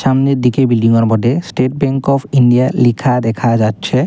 সামনের দিকে বিল্ডিং -ওর বটে স্টেট ব্যাংক অফ ইন্ডিয়া লিখা দেখা যাচ্ছে।